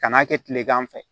Kan'a kɛ tilegan fɛ